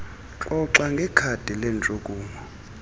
xoxa ngekhadi lentshukumo